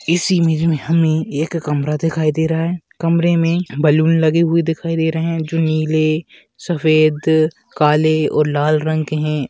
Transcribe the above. इस इमेज में हमें एक कमरा दिखाई दे रहा हैं कमरे में बैलून लगे हुए दिखाई दे रहे हैं जो नीले सफ़ेद काले और लाल रंग के हैं।